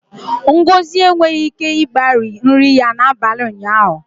Ngozi enweghị ike igbari nri ya n'abalị ụnyaahụ